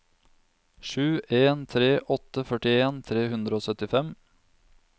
sju en tre åtte førtien tre hundre og syttifem